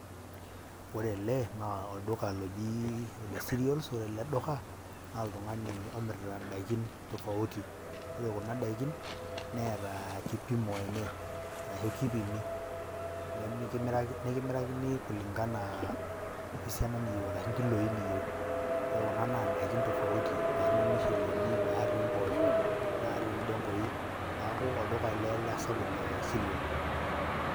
Ore ele naa olduka loji ole cereals ore ele doka naa oltung'ani omirita indaikin tofauti. Ore kuna daikin neeta kipimo enye arashu kipimi, nemiraki nekimirakini kuling'ana we siana niyeu arashu orkiloi liyeu. Ore kuna naa ndaikin tofauti naake etii irmusheleni, natii impoosho, natii indeng'ui. Neeku olduka ele sapuk le cereal.